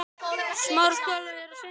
Já, við erum að flytja.